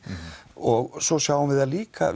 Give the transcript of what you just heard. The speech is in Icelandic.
og svo sjáum við það líka